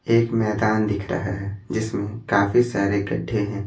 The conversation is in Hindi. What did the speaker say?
एक मैदान दिख रहा है जिसमें काफी सारे गड्ढे हैं।